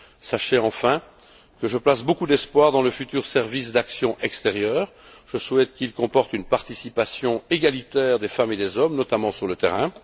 Sachez enfin que je place beaucoup d'espoir dans le futur service pour l'action extérieure. Je souhaite qu'il comporte une participation égalitaire des femmes et des hommes, en particulier sur le terrain.